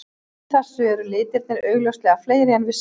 Samkvæmt þessu eru litirnir augljóslega fleiri en við sjáum.